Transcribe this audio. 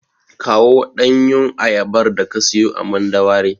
Kawo ɗanyun ayabar daka siyo a Mandawari.